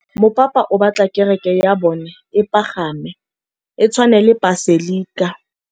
Mopapa o batla kereke ya bone e pagame, e tshwane le paselika.